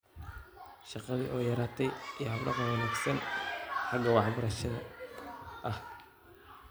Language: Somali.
Shaqadii oo yaraatay iyo hab-dhaqan wanaagsan oo xagga waxbaridda ah.